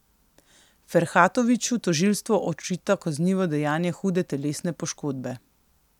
Ferhatoviću tožilstvo očita kaznivo dejanje hude telesne poškodbe.